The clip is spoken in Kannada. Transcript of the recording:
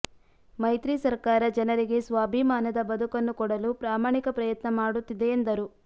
ಮೈತ್ರಿ ಸರ್ಕಾರ ಜನರಿಗೆ ಸ್ವಾಭಿಮಾನದ ಬದಕನ್ನು ಕೊಡಲು ಪ್ರಾಮಾಣಿಕ ಪ್ರಯತ್ನ ಮಾಡುತ್ತಿದೆ ಎಂದರು